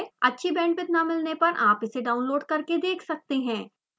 अच्छी bandwidth न मिलने पर आप इसे download करके देख सकते हैं